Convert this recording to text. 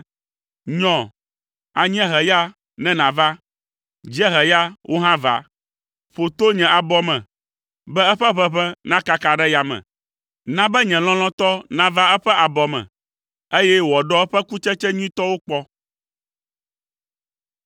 Nyɔ, anyieheya, ne nàva; dzieheya, wò hã va! Ƒo to nye abɔ me, be eƒe ʋeʋẽ nakaka ɖe yame. Na be nye lɔlɔ̃tɔ nava eƒe abɔ me, eye wòaɖɔ eƒe kutsetse nyuitɔwo kpɔ.